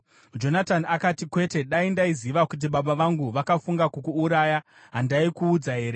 Jonatani akati, “Kwete! Dai ndaiziva kuti baba vangu vakafunga kukuuraya, handaikuudza here?”